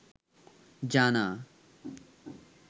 জানা